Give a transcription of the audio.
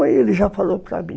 Aí ele já falou para mim.